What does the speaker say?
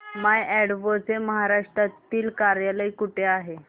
माय advo चे महाराष्ट्रातील कार्यालय कुठे आहे